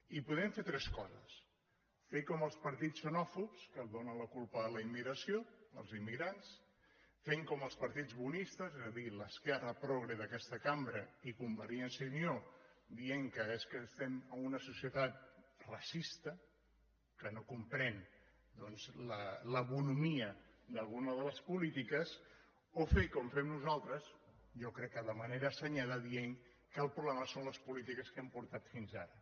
i podem fer tres coses fer com els partits xenòfobs que donen la culpa a la immigració als immigrants fer com els partits bonistes és a dir l’esquerra progre d’aquesta cambra i convergència i unió dient que és que estem en una societat racista que no comprèn la bonhomia d’alguna de les polítiques o fer com fem nosaltres jo crec que de manera assenyada dient que el problema són les polítiques que hem portat fins ara